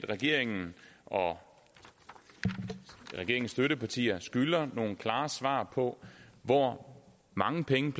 regeringen og regeringens støttepartier skylder at give nogle klare svar på hvor mange penge